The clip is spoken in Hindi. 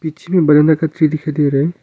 पीछे मे दिखाई दे रहा है।